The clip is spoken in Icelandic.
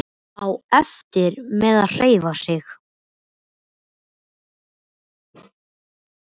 Á erfitt með að hreyfa sig.